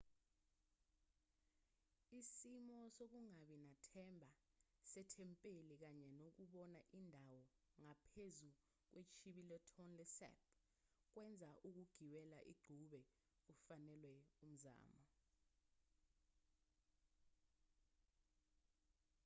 isimo sokungabi nathemba sethempeli kanye nokubona indawo ngaphezu kwechibi letonle sap kwenza ukugibela igqube kufanelwe umzamo